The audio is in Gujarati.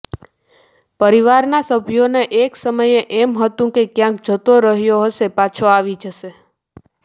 પરિવારના સભ્યોને એકસમયે એમ હતું કે ક્યાંક જતો રહ્યો હશે પાછો આવી જશે